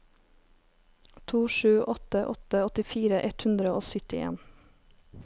to sju åtte åtte åttifire ett hundre og syttien